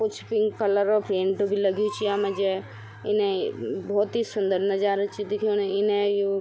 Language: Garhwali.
कुछ पिंक कलर क् पेंट भी लग्युं च यामा जे इनेई भोत ही सुन्दर नजारा च दिखेणु इने यु --